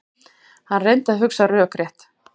Hann reyndi að hugsa rökrétt.